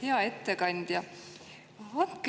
Hea ettekandja!